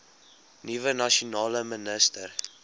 nuwe nasionale minister